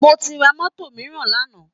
mo ti ra mọ́tò mìíràn lánàá